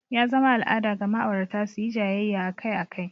Ya zama al'ada ga ma'aurata su yi jayayya akai-akai.